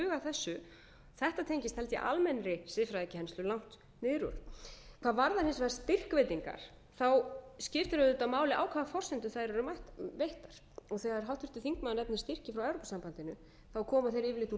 þessu þetta tengist held ég almennri siðfræðikennslu langt niður úr hvað varðar hins vegar styrkveitingar skiptir auðvitað máli á hvaða forsendu þær eru veittar þegar háttvirtur þingmaður nefnir styrki frá evrópusambandinu koma þeir yfirleitt úr